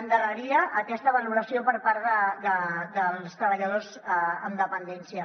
endarreria aquesta valoració per part dels treballadors en dependència